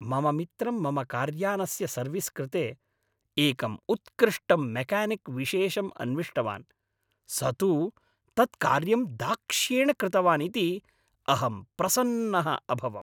मम मित्रं मम कार्यानस्य सर्विस् कृते एकं उत्कृष्टं मेक्यानिक् विशेषं अन्विष्टवान्, स तु तत्कार्यं दाक्ष्येण कृतवान् इति अहं प्रसन्नः अभवम्।